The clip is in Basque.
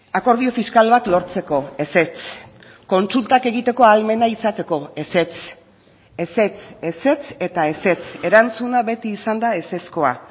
akordio fiskal bat lortzeko ezetz kontsultak egiteko ahalmena izateko ezetz ezetz ezetz eta ezetz erantzuna beti izan da ezezkoa